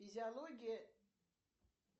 физиология